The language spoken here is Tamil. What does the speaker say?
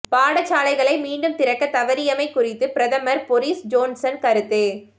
பாடசாலைகளை மீண்டும் திறக்கத் தவறியமை குறித்து பிரதமர் பொரிஸ் ஜோன்சன் கருத்து